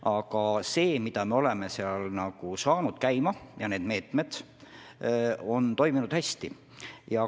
Aga see, mille me oleme seal käima saanud, kõik need meetmed on toiminud hästi.